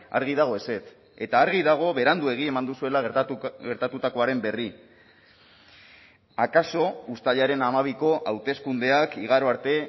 argi dago ezetz eta argi dago beranduegi eman duzuela gertatutakoaren berri akaso uztailaren hamabiko hauteskundeak igaro arte